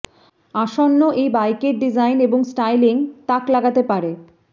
আসন্ন এই বাইকের ডিজাইন এবং স্টাইলিং তাক লাগাতে পারে